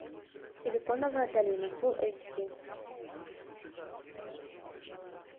силиконовая долина фул эйч ди